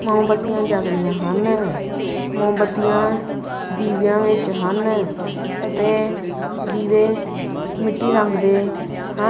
ਮੋਮਬੱਤੀਆਂ ਜਗ ਰਹੀਆਂ ਹਨ ਮੋਮਬੱਤੀਆਂ ਦੀਵੀਆਂ ਵਿੱਚ ਹਨ ਅਤੇ ਦੀਵੇ ਮਿੱਟੀ ਰੰਗ ਦੇ ਹਨ।